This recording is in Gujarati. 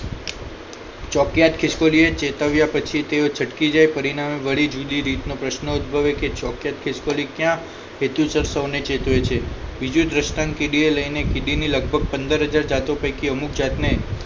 ચોકિયાત ખીશ્કોલી એ ચેતવ્યા પછી તેઓ છટકી જાય પરીનામે વળી જુદી રીત નો પ્રશ્ન ઉદ્ભવે કે ચોકિયાત ખિસકોલી ક્યાં હેતુસર સૌને ચેતવે છે બીજું દ્રષ્ટાંત કીડીયો ને લઈ ને કીડીને લગભગ પંદર હજાર જાતો પૈકી અમુક જાતને